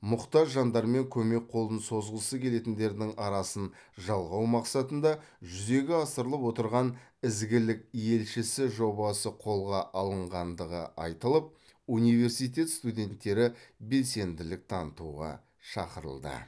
мұқтаж жандар мен көмек қолын созғысы келетіндердің арасын жалғау мақсатында жүзеге асырылып отырған ізгілік елшісі жобасы қолға алынғандығы айтылып университет студенттері белсенділік танытуға шақырылды